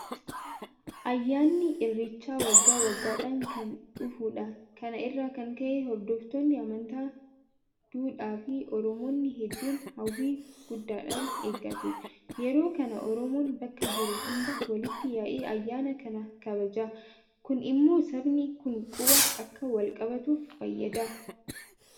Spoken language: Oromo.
Ayyaanni irreechaa waggaa waggaadhaan kan dhufudha. Kana irraa kan ka'e hordoftoonni amantaa duudhaafi Oromoonni hedduun hawwii guddaadhaan eeggatu. Yeroo kana Oromoon bakka jiru hundaa walitti yaa'ee ayyaana kana kabajata. Kun immoo sabni kun quba akka walqabaatuuf fayyada.